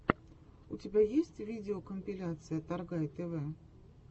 у тебя есть видеокомпиляция торгай тв